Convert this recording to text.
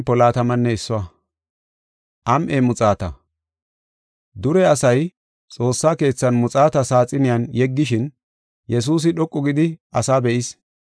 Dure asay xoossa keethan muxaata saaxiniyan yeggishin Yesuusi dhoqu gidi asaa be7is.